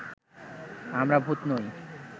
আমরা ভূত নই